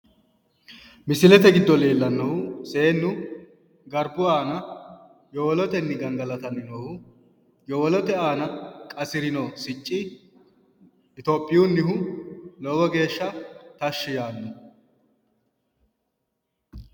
Misilete giddo leellannohu seennu garbu aana yowolotenni gangalatanni noohu yowolote aana qasirino Succi